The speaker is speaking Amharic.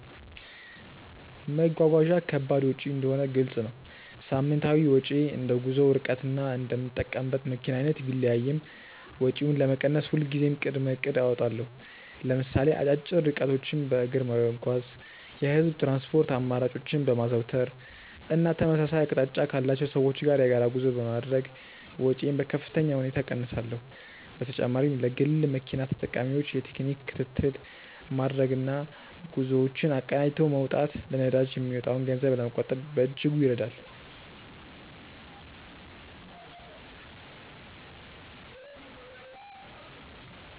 መጓጓዣ ከባድ ወጪ እንደሆነ ግልጽ ነው። ሳምንታዊ ወጪዬ እንደ ጉዞው ርቀትና እንደምጠቀምበት መኪና አይነት ቢለያይም፣ ወጪውን ለመቀነስ ሁልጊዜም ቅድመ እቅድ አወጣለሁ። ለምሳሌ አጫጭር ርቀቶችን በእግር በመጓዝ፣ የህዝብ ትራንስፖርት አማራጮችን በማዘውተር እና ተመሳሳይ አቅጣጫ ካላቸው ሰዎች ጋር የጋራ ጉዞ በማድረግ ወጪዬን በከፍተኛ ሁኔታ እቀንሳለሁ። በተጨማሪም ለግል መኪና ተጠቃሚዎች የቴክኒክ ክትትል ማድረግና ጉዞዎችን አቀናጅቶ መውጣት ለነዳጅ የሚወጣን ገንዘብ ለመቆጠብ በእጅጉ ይረዳል።